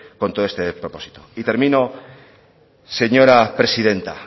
con todo este despropósito y termino señora presidenta